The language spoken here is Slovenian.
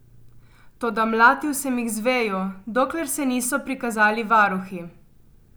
Toda mlatil sem jih z vejo, dokler se niso prikazali varuhi.